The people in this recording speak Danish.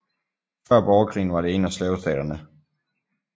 Før Borgerkrigen var det en af slavestaterne